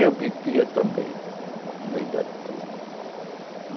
Eu bebia também, no meio da turma.